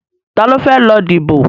Ta ló fẹ́ lọ díbò?